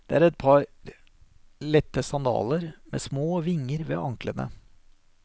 Det er et par lette sandaler, med små vinger ved anklene.